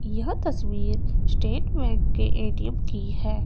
यह तस्वीर state bank के ए_टी_एम की है।